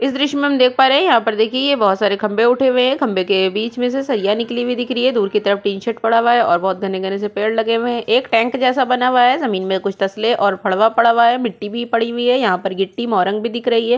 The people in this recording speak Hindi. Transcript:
इस द्र्श्य में हम देख पा रहे है यहाँ पर देखिए ये बहुत सारे खंभे उठे हुए है खंबे के बीच मे से सरिया निकली हुई दिख रही है दूर की तरफ टीन शेड पड़ा हुआ है और बहुत घने-घने से पेड़ लगे हुए है एक टेंक जैसा बना हुआ है ज़मीन में कुछ तशले और फड़वा पड़ा हुआ है मिट्टी भी पड़ी हुई है यहाँ पर गिट्टी मोरंग भी दिख रही है।